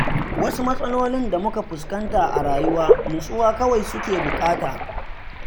Wasu matsalolin da muka fuskanta a rayuwa nutsuwa kawai suke buƙata.